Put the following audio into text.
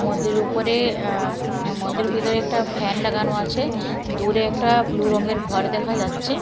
মন্দিরের উপরে আ মন্দিরের ভেতরে একটা ফ্যান লাগানো আছে দূরে একটা ব্লু রঙের ঘর দেখা যাচ্ছে।